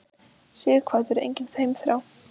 Sighvatur: Engin heimþrá?